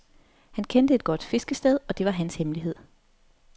Han kendte et godt fiskested, og det var hans hemmelighed.